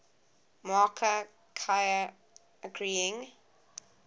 marker ki agreeing